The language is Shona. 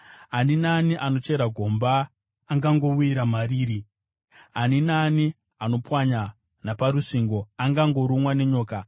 Ani naani anochera gomba angangowira mariri; ani naani anopwanya naparusvingo angangorumwa nenyoka.